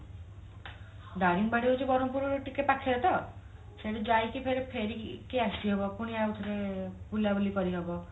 ଦାରିଙ୍ଗିବାଡି ବ୍ରହ୍ମପୁର ରୁ ଟିକେ ପାଖରେ ତ ସେଠି ଯାଇକି ପୁଣି ଫେରିକି ଆସିହବ ପୁଣି ଆଉ ଥରେ ବୁଲାବୁଲି କରିହବ